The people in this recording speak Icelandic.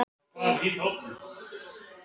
Í bókum var svonalagað alltaf svo auðvelt.